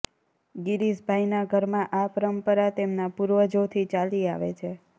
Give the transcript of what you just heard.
ગિરીશભાઈના ઘરમાં આ પરંપરા તેમના પૂર્વજોથી ચાલી આવે છે